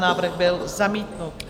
Návrh byl zamítnut.